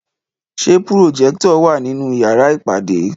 Ṣé pùròjẹ́tọ̀ wà nínú yàrá ìpàdé?